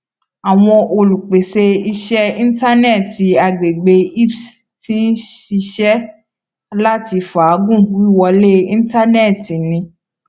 awọn olupese iṣẹ intanẹẹti agbegbe isps ti n ṣiṣẹ lati faagun wiwọle intanẹẹti ni